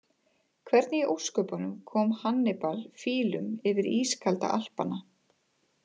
Hvernig í ósköpunum kom Hannibal fílum yfir ískalda Alpana?